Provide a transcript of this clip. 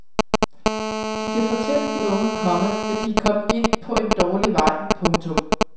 De kan fortælle de unge, komma at de er kommet ind på at dårlig vej. punktum